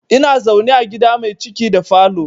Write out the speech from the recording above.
Ina zaune a gida mai ciki da falo